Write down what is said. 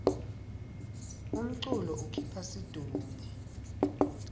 umculo ukhipha situnge